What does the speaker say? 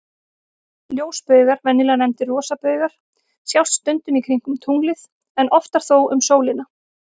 Ljósbaugar, venjulega nefndir rosabaugar, sjást stundum kringum tunglið, en oftar þó um sólina.